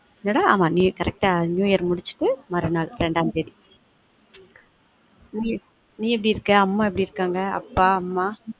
என்னடா ஆமா Correct ஆ new year முடிச்சிட்டு மறுநாள் ரெண்டாந்தேதி நீ எப்படி இருக்க? அம்மா எப்படி இருக்காங்க? அப்பா அம்மா?